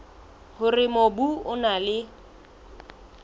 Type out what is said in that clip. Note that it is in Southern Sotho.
hore mobu o na le